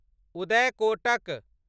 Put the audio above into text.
Uday Kotak